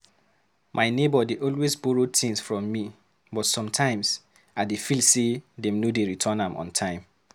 My neighbor dey always borrow things from me, but sometimes I dey feel say dem no dey return am on time.